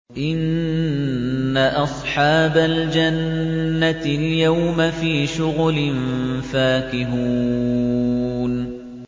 إِنَّ أَصْحَابَ الْجَنَّةِ الْيَوْمَ فِي شُغُلٍ فَاكِهُونَ